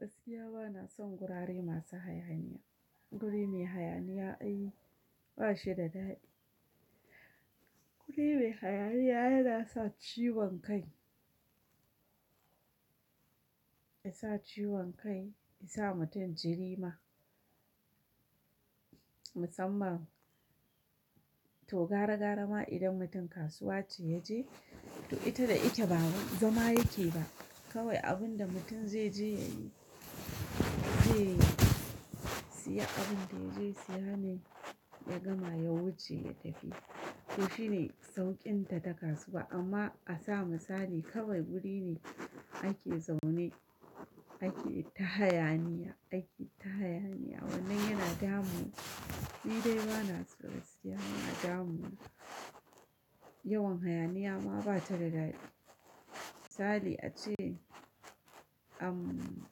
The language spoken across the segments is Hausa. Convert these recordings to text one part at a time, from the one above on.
Gaskiya bana son gurare masu hayaniya, guri mai hayaniya ai ba shi da daɗi. Guri mai hayaniya yana sa ciwon kai, ya sa ciwon kai, ya sa mutum jiri ma. Musamman to gara gara ma idan mutum kasuwa ce ya je, to ita da ike ba zama yake ba. Kawai abun da mutun zai je ya yi, zai siya abin da ya je siya ne ya gama ya wuce ya tafi. To shi ne sauƙin ta ta kasuwa amma a sa misali kawai guri ne ake zaune ake ta hayaniya, ake ta hayaniya wannan yana damu. Ni dai bana so gaskiya yana damu na. Yawan hayaniya ma ba ta da daɗi. Misali ace an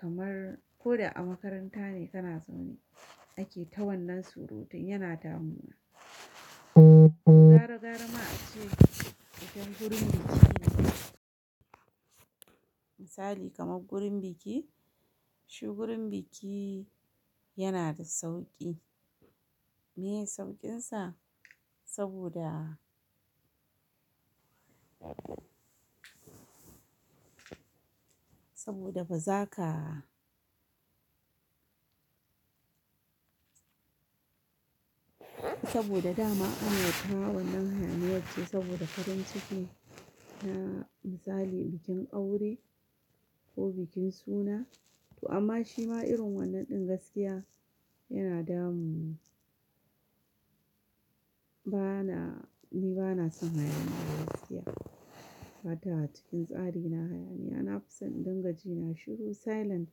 kamar ko da a makaranta ne kana zaune ake ta wannan surutun yana damu na. Gara gara ma ace id nean gurin biki misali kamar gurin biki, shi gurin biki yana da sauƙi. Me sauƙinsa? Saboda, saboda baza ka saboda dama ana ta wannan hayaniyar ce saboda farin ciki na misali bikin aure ko bikin suna. To amma shi ma irin wannan ɗin gaskiya yana damu. Bana, ni bana son hayaniya gaskiya. Bata cikin tsari na hayaniya, na fi son in dinga ji na shiru silent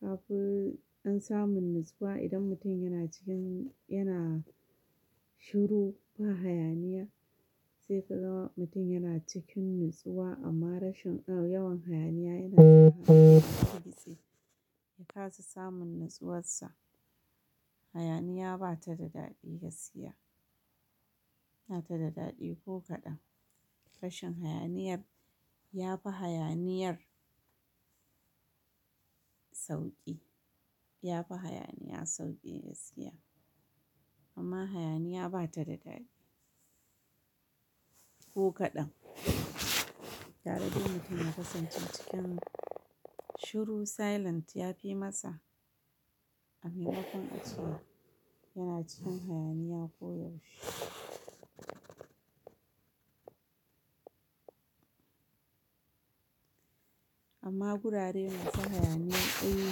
kafi dan samun natsuwa. Idan mutum yana cikin yana shiru ba hayaniya sai ka ga mutum yana cikin natsuwa amma rashin yawan hayaniya yana ya kasa samun natsuwarsa. Hayaniya bata da daɗi gaskiya, bata da daɗi ko kaɗan. Rashin hayaniyar yafi hayaniyar sauƙi, yafi hayaniya sauƙi gaskiya. Amma hayaniya bata da daɗi ko kaɗan. Gara dai mutum ya kasance cikin shiru silent yafi masa amaimakon a ce yana cikin hayaniya ko yaushe. Amma gurare masu hayaniya ai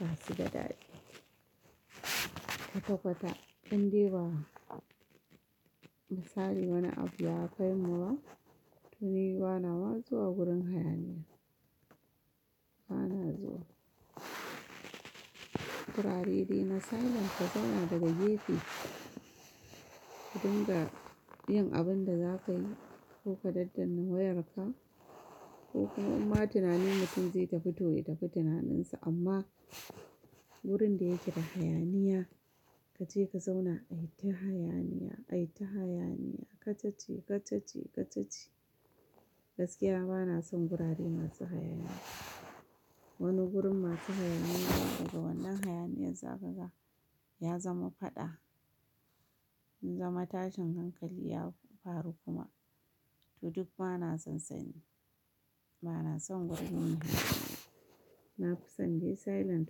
ba su da daɗi kwata kwata indai ba misali wani abu ya kai mu ba to ni bana ma zuwa gurin hayaniya bana zuwa. Gurare dai na silent ka zauna daga gefe ɗin ga yin abun da zaka yi ko ka daddanna wayarka ko kuma imma tunani mutum zai tafi to ya tafi tunanin sa amma wurin da yake da hayaniya kace ka zauna ai ta hayaniya, ai ta hayaniya, kacace, kacace, kacace. Gaskiya bana son gurare masu hayaniya. Bata a cikin tsari na hayaniya, na fi son in dinga ji na shiru silent kafi dan samu natsuwa. Idan mutum yana cikin yana shiru ba hayaniya sai ka ga mutum yana cikin natsuwa amma rashin yawan hayaniya yana To duk bana son sanyi, bana son guri mai hayaniya. Na fi son dai silent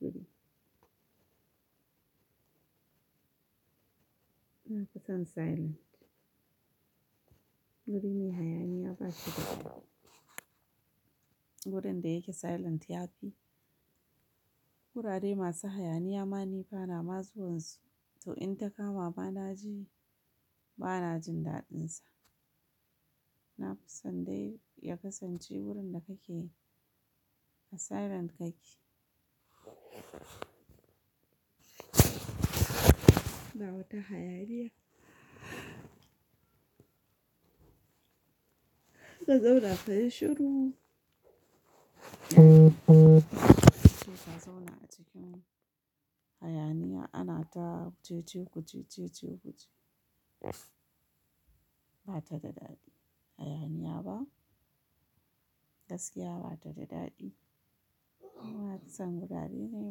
guri. Na fi son silent. Guri mai hayaniya ba shi da daɗi. Gurin da yake silent yafi. Gurare masu hayaniya ma ni bana ma zuwansu to in ta kama bana ji, bana jin daɗinsa. Na fi son dai ya kasance wurin da kake a silent kake. Ba wata hayaniya. Ka zauna ka yi shiru. Kace ka zauna a cikin hayaniya ana ta cece kuce, cece kuce bata da daɗi hayaniya ba. Gaskiya bata da daɗi. Na fi son gurare ne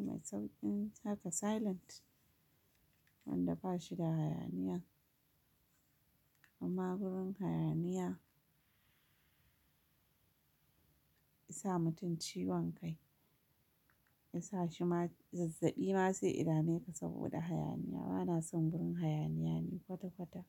mai sauƙin haka silent wanda ba shi da hayaniya. Amma gurin hayaniya ya sa mutum ciwon kai. Ya sa shi ma zazzabi ma sai idame ka saboda hayaniya. Bana son gurin hayaniya ni kwata kwata.